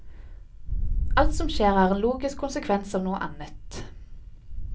Alt som skjer er en logisk konsekvens av noe annet.